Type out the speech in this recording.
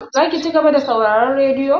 Zaki ci gaba da sauraron radiyo?